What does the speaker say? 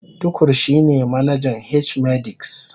Tukur shine manajan H-medics